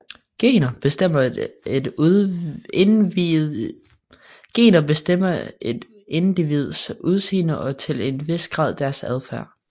Gener bestemmer et individs udseende og til en vis grad deres adfærd